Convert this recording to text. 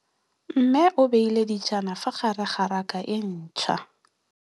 Mmê o beile dijana ka fa gare ga raka e ntšha.